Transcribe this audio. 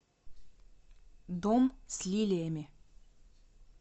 дом с лилиями